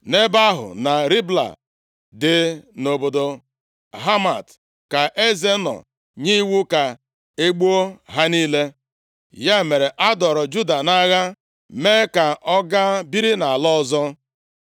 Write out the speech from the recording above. Nʼebe ahụ, na Ribla dị nʼobodo Hamat, ka eze nọ nye iwu ka e gbuo ha niile. Ya mere, a dọọrọ Juda nʼagha, mee ka ọ ga biri nʼala ọzọ.